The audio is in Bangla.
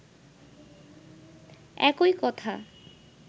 একই কথা